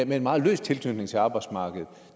med en meget løs tilknytning til arbejdsmarkedet